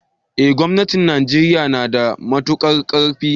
eh gomnatin Najeriya nada matuƙar karfi.